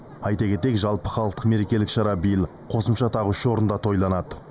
айта кетейік жалпыхалықтық мерекелік шара биыл қосымша тағы үш орында тойланады